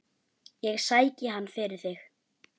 Sæki hann fyrir þig.